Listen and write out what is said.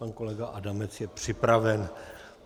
Pan kolega Adamec je připraven.